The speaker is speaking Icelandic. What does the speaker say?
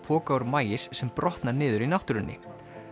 poka úr maís sem brotna niður í náttúrunni